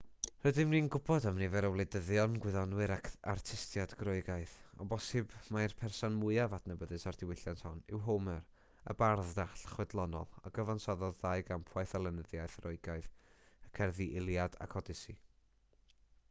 rydyn ni'n gwybod am nifer o wleidyddion gwyddonwyr ac artistiaid groegaidd o bosibl mai'r person mwyaf adnabyddus o'r diwylliant hwn yw homer y bardd dall chwedlonol a gyfansoddodd ddau gampwaith o lenyddiaeth roegaidd y cerddi iliad ac odyssey